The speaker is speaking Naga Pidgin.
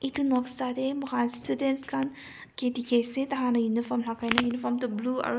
etu noksa tae students khan kae dekhi ase tai khan uniform lagai na tai uniform toh blue as --